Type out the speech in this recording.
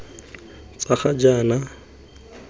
tsa ga jaana di ka